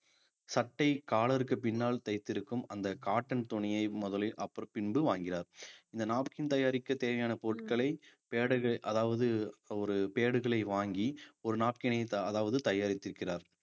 சட்டை collar க்குப் பின்னால் தைத்திருக்கும் அந்த cotton துணியை முதலில் பின்பு வாங்கினார் இந்த napkin தயாரிக்க தேவையான பொருட்களை pad கள் அதாவது ஒரு pad களை வாங்கி ஒரு napkin ஐ அதாவது தயாரித்திருக்கிறார்